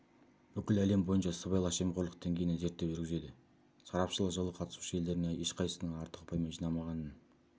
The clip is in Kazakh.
бүкіл әлем бойынша сыбайлас жемқорлық деңгейіне зерттеу жүргізеді сарапшылар жылы қатысушы елдердің ешқайсысының артық ұпай жинамағанын